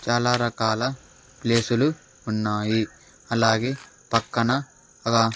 చాలా రకాల ప్లేసులు ఉన్నాయి అలాగే పక్కన ఒక--